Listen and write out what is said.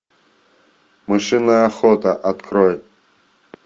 мышиная охота открой